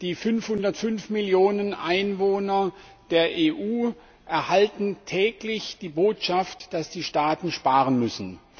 Die 505 Millionen Einwohner der EU erhalten täglich die Botschaft, dass die Staaten sparen müssen.